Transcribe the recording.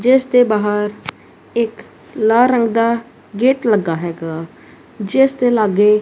ਜਿੱਸ ਦੇ ਬਾਹਰ ਇੱਕ ਲਾਲ ਰੰਗ ਦਾ ਗੇਟ ਲੱਗਾ ਹੈਗਾ ਜਿਸਦੇ ਲਾਗੇ--